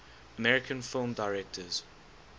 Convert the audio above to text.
american film directors